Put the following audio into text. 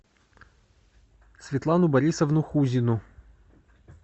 светлану борисовну хузину